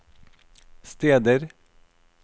steder